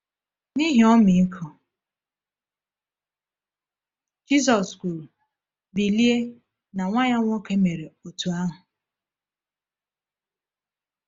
“N’ihi ọmịiko,” Jisus kwuru, “Bilie!” na nwa ya nwoke mere otú ahụ.